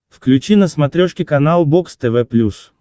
включи на смотрешке канал бокс тв плюс